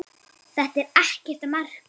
Þetta er ekkert að marka.